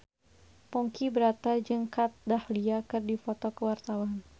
Ponky Brata jeung Kat Dahlia keur dipoto ku wartawan